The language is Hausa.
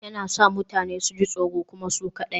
Yana sa mutane su ji tsoro kuma su kaɗai